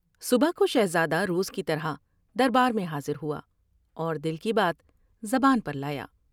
صبح کوشہزادہ روز کی طرح دربار میں حاضر ہوا اور دل کی بات زبان پر لایا ۔